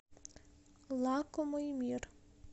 лакомый мир